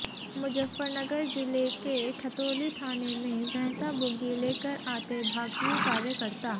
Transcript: मुजफ्फरनगर जिले के खतौली थाने में भैँसा बुग्गी लेकर आते भाकियू कार्यकर्ता